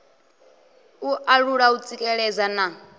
u alula u tsikeledza na